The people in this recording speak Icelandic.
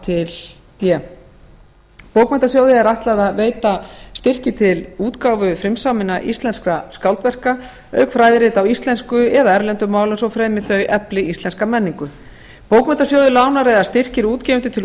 til d bókmenntasjóði er ætlað að veita styrki til útgáfu frumsaminna íslenskra skáldverka auk fræðirita á íslensku eða erlendum málum svo fremi þau efli íslenska menningu bókmenntasjóður lánar eða styrkir útgefendur til